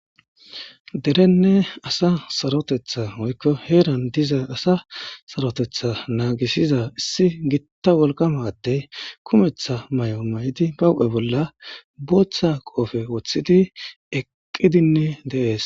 Derenne asa saroteta woyiko heran diza asa na,a saroteta nagisida issi githa wolqama ade kumetha mayo mayidi ba huphe bolla botha qophe wotidi eqidinne dee's